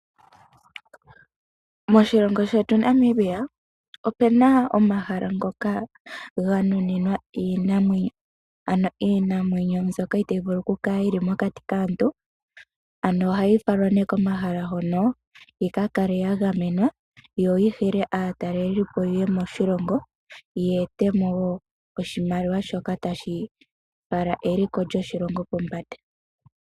Moshilongo shetu Namibia opena omahala mpoka ganuninwa iinamwenyo ano iinamwenyo mbyoka itayi vulu okukala mokati kaantu. Ano ohayi falwa ne komahala hono yi ka kale yagamenwa yoyi hile aatalelipo yeye moshilongo ya etemo woo oshimaliwa shoka tashi fala eliko lyoshilongo pombanda.